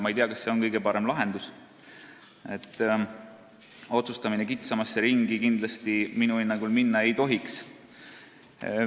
Ma ei tea, kas see on kõige parem lahendus – otsustamine kitsamasse ringi minu hinnangul minna ei tohiks.